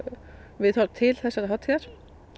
viðhorf til þessarar hátíðar